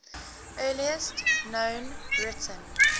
earliest known written